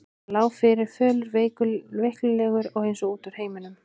Hann lá fyrir, fölur og veiklulegur og eins og út úr heiminum.